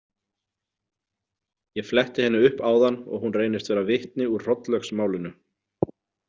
Ég fletti henni upp áðan og hún reynist vera vitni úr Hrollaugsmálinu.